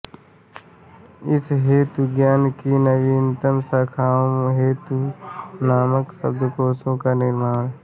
इस हेतु ज्ञान की नवीनतम शाखाओ हेतु मानक शब्दकोशों का निर्माण